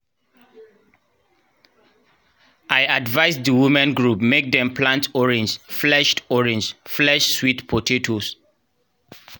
i advise di women group mek dem plant orange-fleshed orange-fleshed sweet potatoes